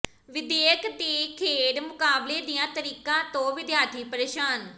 ਵਿੱਦਿਅਕ ਤੇ ਖੇਡ ਮੁਕਾਬਲੇ ਦੀਆਂ ਤਰੀਕਾਂ ਤੋਂ ਵਿਦਿਆਰਥੀ ਪ੍ਰੇਸ਼ਾਨ